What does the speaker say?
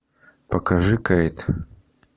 покажи кейт